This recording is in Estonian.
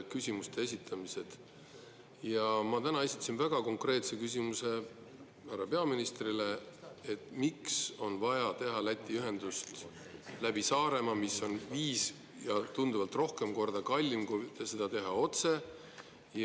Täna ma esitasin härra peaministrile väga konkreetse küsimuse: miks on vaja teha Läti ühendust läbi Saaremaa, mis on viis ja tunduvalt rohkem korda kallim, kui seda teha otse?